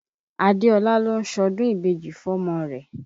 Adéọlá ló ń ṣọdún ìbejì fọ́mọ rẹ̀.